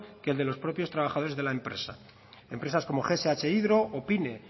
que el de los propios trabajadores de la empresa empresas como gs hydro o pine